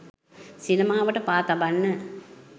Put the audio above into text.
සිනමාවට පා තබන්න